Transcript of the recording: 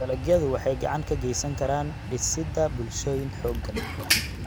Dalagyadu waxay gacan ka geysan karaan dhisidda bulshooyin xooggan.